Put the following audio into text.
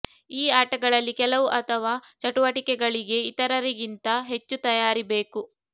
ಈ ಆಟಗಳಲ್ಲಿ ಕೆಲವು ಅಥವಾ ಚಟುವಟಿಕೆಗಳಿಗೆ ಇತರರಿಗಿಂತ ಹೆಚ್ಚು ತಯಾರಿ ಬೇಕು